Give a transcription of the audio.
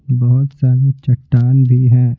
बहुत सारी चट्टान भी हैं।